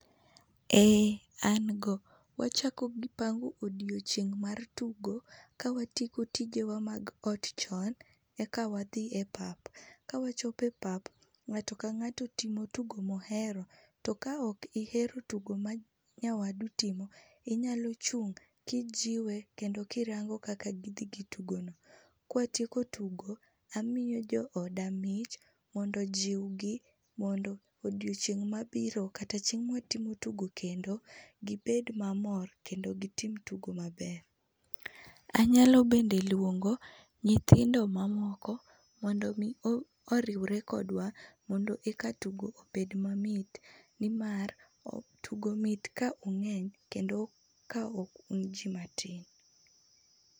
Eeeh an go, wachako gi pango odiochieng mar tugo ka watieko tijewa mag ot chon eka wadhi e pap. Ka wachopo e pap ngato ka ngato timo tugo ma ohero to ka ok ihero tugo ma nyawadu timo inyalo chung ka ijiwe kendo kirango kaka gidhi gi tugono. Ka watieko tigo amiyo jooda mich mondo ojiw gi mondo odiochieng ma biro kata chieng ma watimo tigo kendo gibed mamor kendo gitim tugo maber. Anyalo bende luongo nyithindo mamoko mondo mi oriwre kodwa mondo eka tugo obed mamit nimar tugo mit ka ungeny kendo ka ok un jii matin